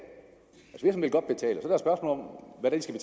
og så